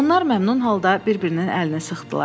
Onlar məmnun halda bir-birinin əlini sıxdılar.